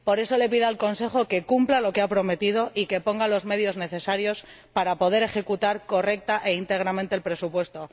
Por eso le pido al Consejo que cumpla lo que ha prometido y que ponga los medios necesarios para poder ejecutar correcta e íntegramente el presupuesto.